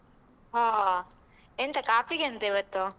ಹ ಎಂತ ಕಾಫಿಗೆಂತ ಇವತ್ತು?